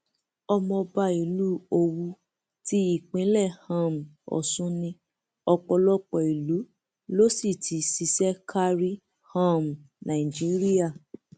ọmọọba ìlú owú ti ìpínlẹ um ọsùn ní ọpọlọpọ ìlú ló sì ti ṣiṣẹ kárí um nàìjíríà